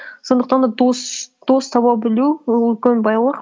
сондықтан да дос таба білу ол үлкен байлық